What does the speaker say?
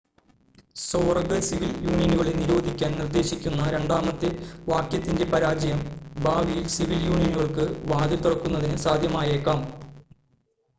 സ്വവർഗ സിവിൽ യൂണിയനുകളെ നിരോധിക്കാൻ നിർദ്ദേശിക്കുന്ന രണ്ടാമത്തെ വാക്യത്തിൻ്റെ പരാജയം ഭാവിയിൽ സിവിൽ യൂണിയനുകൾക്ക് വാതിൽ തുറക്കുന്നതിന് സാധ്യമായേക്കാം